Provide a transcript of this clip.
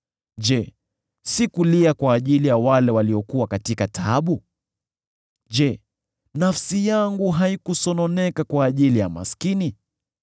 Je, sikulia kwa ajili ya wale waliokuwa katika taabu? Je, nafsi yangu haikusononeka kwa ajili ya maskini?